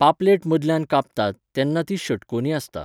पापलेट मदल्यान कापतात, तेन्ना ती षटकोनी आसता.